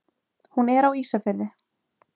Hún er á Ísafirði.